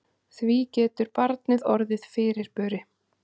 Því getur barnið orðið fyrirburi.